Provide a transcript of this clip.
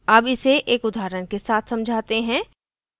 अब इसे एक उदाहऱण के साथ समझाते हैं